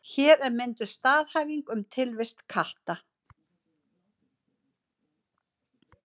Hér er mynduð staðhæfing um tilvist katta.